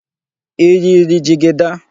Ị yiri jigida?